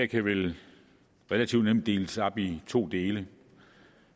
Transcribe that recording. kan vel relativt nemt deles op i to dele